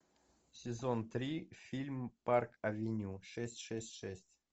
сезон три фильм парк авеню шесть шесть шесть